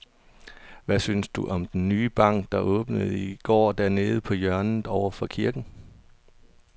Hvad synes du om den nye bank, der åbnede i går dernede på hjørnet over for kirken?